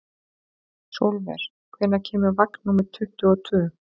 Sólver, hvenær kemur vagn númer tuttugu og tvö?